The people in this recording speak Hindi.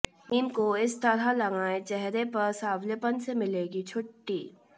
नीम को इस तरह लगाएं चेहरे पर सांवलेपन से मिलेगी छुट्टी